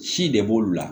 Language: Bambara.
Si de b'olu la